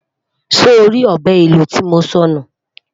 sọ rí ọbẹ ìlò tí mọ sọ nù?